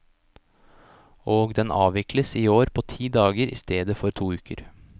Og den avvikles i år på ti dager i stedet for to uker.